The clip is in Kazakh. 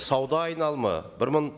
сауда айналымы бір мың